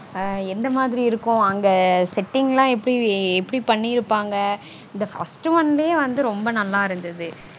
ஆஹ் எந்த மாதிரி இருக்கும் அங்க setting -லாம் எப்படி பண்ணிருப்பாங்க. இந்த first one -லயே ரொம்ப நல்லா இருந்தது